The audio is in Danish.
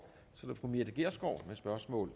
og